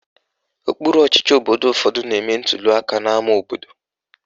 Okpuru ọchịchị obodo ụfọdụ na-eme ntuliaka n'ama obodo